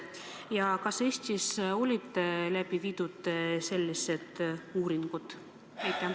Ja kas Eestis on läbi viidud selliseid uuringuid?